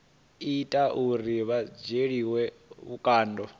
ita uri vha dzhielwe vhukando